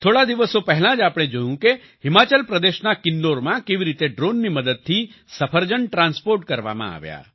થોડા દિવસો પહેલાં જ આપણે જોયું કે હિમાચલ પ્રદેશના કિન્નોરમાં કેવી રીતે ડ્રોનની મદદથી સફરજન ટ્રાન્સપોર્ટ કરવામાં આવ્યા